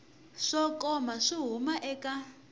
swo koma swo huma eka